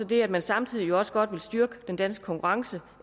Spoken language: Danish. det at man samtidig jo også godt vil styrke den danske konkurrenceevne